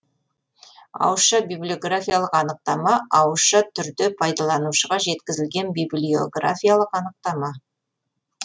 ауызша библиографиялық анықтама ауызша түрде пайдаланушыға жеткізілген библиографиялық анықтама